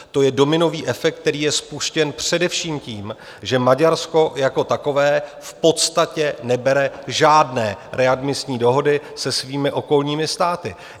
To je dominový efekt, který je spuštěn především tím, že Maďarsko jako takové v podstatě nebere žádné readmisní dohody se svými okolními státy.